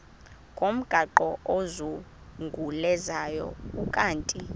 ngomgaqo ozungulezayo ukanti